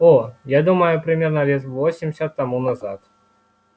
о я думаю примерно лет восемьдесят тому назад